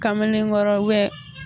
Kamelengɔrɔ